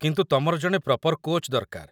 କିନ୍ତୁ ତମର ଜଣେ ପ୍ରପର୍ କୋଚ୍‌ ଦରକାର ।